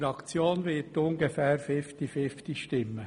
Die Fraktion wird ungefähr fifty-fifty stimmen.